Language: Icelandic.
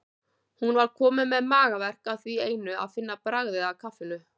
Hún var komin með magaverk af því einu að finna bragðið af kaffinu.